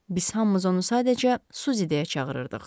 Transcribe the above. Biz hamımız onu sadəcə Suzi deyə çağırırdıq.